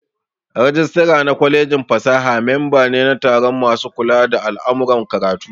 Rajistira na kwalejin fasaha memba ne na taron masu kula da al'amuran karatu